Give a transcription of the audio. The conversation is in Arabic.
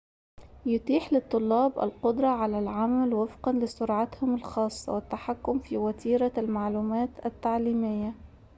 يتيح للطلاب القدرة على العمل وفقاً لسرعتهم الخاصة والتحكم في وتيرة المعلومات التعليمية